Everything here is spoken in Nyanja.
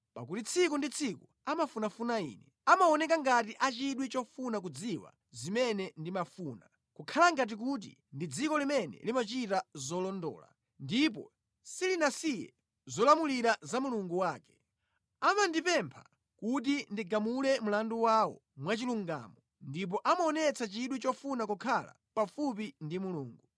Pakuti tsiku ndi tsiku amafunafuna Ine; amaoneka ngati a chidwi chofuna kudziwa zimene ndimafuna, kukhala ngati kuti ndi dziko limene limachita zolondola ndipo silinasiye zolamulira za Mulungu wake. Amandipempha kuti ndigamule mlandu wawo mwachilungamo ndipo amaonetsa chidwi chofuna kukhala pafupi ndi Mulungu.